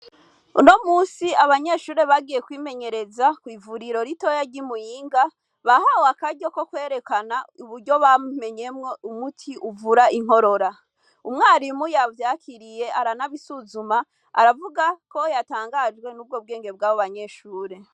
Uno musi abanyeshure bagiye kwimenyereza kw'ivuriro ritoya ry'i Muyinga, bahawe akaryo ko kwerekana uburyo bamenyemwo umuti uvura inkorora. Umwarimu yavyakiriye aranabisuzuma, aravuga ko yatangajwe n'ubwo bwenge bw'abo banyeshure.